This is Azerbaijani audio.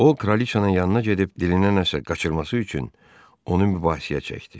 O kraliçanın yanına gedib dilinə nəsə qaçırması üçün onu mübahisəyə çəkdi.